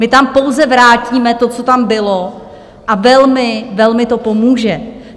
My tam pouze vrátíme to, co tam bylo, a velmi, velmi to pomůže.